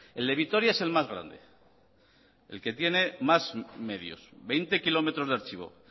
el de vitoria es el más grande el que tiene más medios veinte kilómetros de archivo